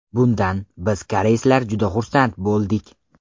Bundan biz koreyslar juda xursand bo‘ldik.